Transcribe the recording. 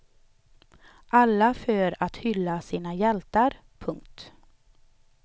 Alla för att hylla sina hjältar. punkt